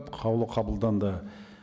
қаулы қабылданды